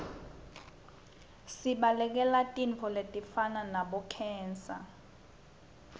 sibalekele tifo letifana nabo khensa